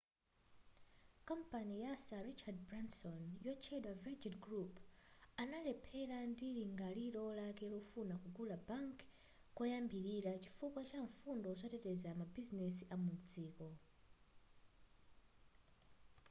kampani ya sir richard branson yotchedwa virgin group analemphera ndi lingaliro lake lofuna kugula bank koyambilira chifukwa cha mfundo zoteteza mabizinesi amudziko